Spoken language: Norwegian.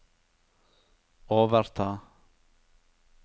overta